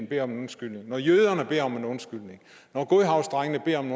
beder om en undskyldning når jøderne beder om en undskyldning når godhavnsdrengene beder om